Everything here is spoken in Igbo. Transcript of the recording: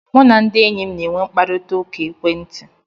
Mụ na ndị enyi m na e nwe mkparịta ụka ekwentị